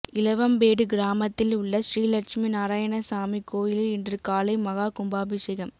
இலவம்பேடு கிராமத்தில் உள்ள ஸ்ரீலட்சுமி நாராயணசாமி கோயிலில் இன்று காலை மகா கும்பாபிஷேகம்